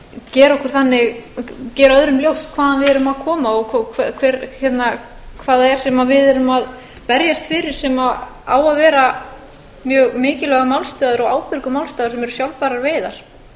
gera öðrum ljóst hvaðan við erum að koma og hvað það er sem við erum að berjast fyrir sem á að vera mjög mikilvægur málstaður og ábyrgur málstaður sem eru sjálfbærar veiðar